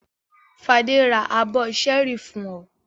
Fadé ra abọ́ ṣẹ́ẹ́rì fún ọ?